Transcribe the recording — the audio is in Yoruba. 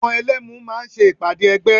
Àwọn Ẹlẹ́mu máa ṣe ìpàdé ẹgbẹ́